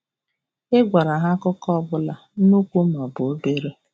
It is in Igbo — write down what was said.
Ị gwara ha akụkọ ọ bụla, nnukwu ma ọ bụ obere.